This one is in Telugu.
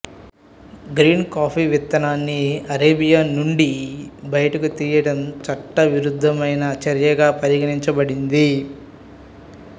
గ్రీన్ కాఫీ విత్తనాన్ని అరేబియా నుండి బయటకు తీయడం చట్టవిరుద్ధమైన చర్యగా పరిగణించబడింది